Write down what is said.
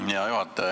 Hea juhataja!